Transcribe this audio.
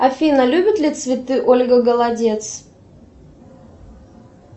афина любит ли цветы ольга голодец